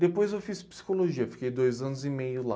Depois eu fiz psicologia, fiquei dois anos e meio lá.